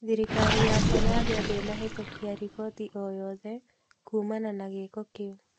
Thirikari ya Somalia ndĩnahĩtũkia riboti o yothe kuumana na gĩĩko kĩu